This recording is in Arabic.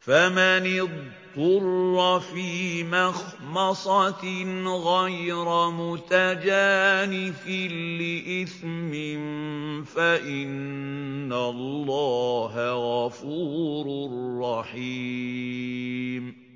فَمَنِ اضْطُرَّ فِي مَخْمَصَةٍ غَيْرَ مُتَجَانِفٍ لِّإِثْمٍ ۙ فَإِنَّ اللَّهَ غَفُورٌ رَّحِيمٌ